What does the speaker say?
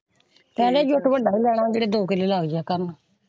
ਕਹਿੰਦੇ ਜੋਤ ਵੱਡਾ ਹੀ ਜਿਹੜਾ ਦੋ ਕਿਲੋ ਲੱਗ ਜਾਏ ਕੰਧ।